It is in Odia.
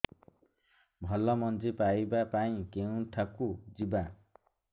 ଭଲ ମଞ୍ଜି ପାଇବା ପାଇଁ କେଉଁଠାକୁ ଯିବା